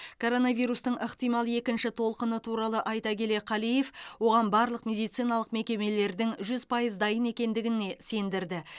коронавирустың ықтимал екінші толқыны туралы айта келе қалиев оған барлық медициналық мекемелердің жүз пайыз дайын екендігіне сендірді